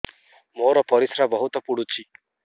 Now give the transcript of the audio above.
ମୋର ପରିସ୍ରା ବହୁତ ପୁଡୁଚି